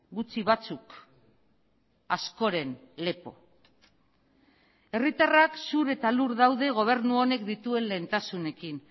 gutxi batzuk askoren lepo herritarrak zur eta lur daude gobernu honek dituen lehentasunekin